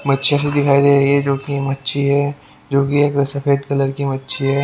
मच्छी जैसी दिखाई दे रही है जो कि मच्छी है जो कि एक सफेद कलर की मच्छी है।